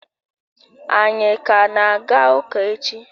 Anyi ka na-aga ụka echi?